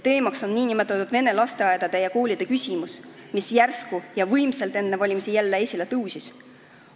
Teemaks on nn vene lasteaedade ja koolide küsimus, mis järsku ja võimsalt enne valimisi jälle esile tõusis.